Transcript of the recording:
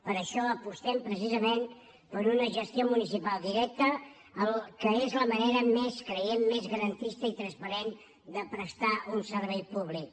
per això apostem precisament per una gestió municipal directa que és la manera creiem més garantista i transparent de prestar un servei públic